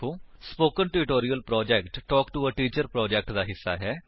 spoken tutorial project talk to a teacher project ਦਾ ਹਿੱਸਾ ਹੈ